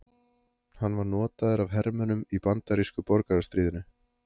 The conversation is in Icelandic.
Hann var notaður af hermönnum í bandarísku borgarastríðinu.